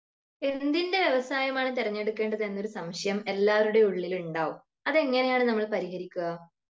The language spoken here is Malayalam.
എന്തിൻ്റെ വ്യവസായം ആണ് തിരഞ്ഞെടുക്കേണ്ടത് എന്നൊരു സംശയം എല്ലാവരുടേം ഉള്ളിൽ ഉണ്ടാവും അത് എങ്ങിനെയാണ് നമ്മൾ പരിഹരിക്ക